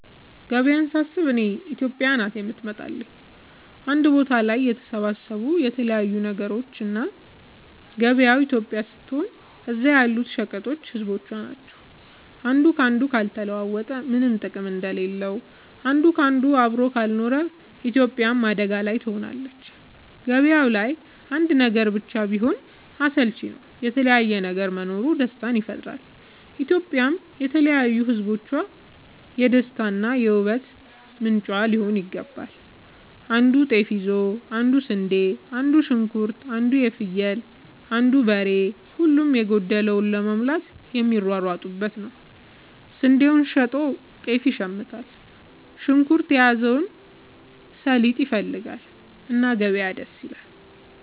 ገበያ ሳስብ እኔ ኢትዮጵያ ናት የምትመጣለኝ አንድ ቦታ ላይ የተሰባሰቡ የተለያዩ ነገሮች እና ገበያው ኢትዮጵያ ስትሆን እዛ ያሉት ሸቀጦች ህዝቦቿ ናቸው። አንዱ ካንዱ ካልተለዋወጠ ምነም ጥቅም እንደሌለው አንድ ካንዱ አብሮ ካልኖረ ኢትዮጵያም አደጋ ላይ ትሆናለች። ገባያው ላይ አንድ ነገር ብቻ ቢሆን አስልቺ ነው የተለያየ ነገር መኖሩ ደስታን ይፈጥራል። ኢትዮጵያም የተለያዩ ህዝቦቿ የደስታ እና የ ውበት ምንጯ ሊሆን ይገባል። አንዱ ጤፍ ይዞ አንዱ ስንዴ አንዱ ሽንኩርት አንዱ ፍየል አንዱ በሬ ሁሉም የጎደለውን ለመሙላት የሚሯሯጡበት ነው። ስንዴውን ሸጦ ጤፍ ይሽምታል። ሽንኩርት የያዘው ሰሊጥ ይፈልጋል። እና ገበያ ደስ ይላል።